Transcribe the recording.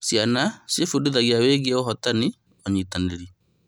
Ciana ciebundithagia wĩgiĩ ũhotani na ũnyitanĩri.